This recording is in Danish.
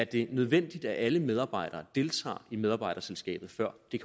det er nødvendigt at alle medarbejdere deltager i medarbejderselskabet før det